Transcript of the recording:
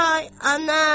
Vay ana!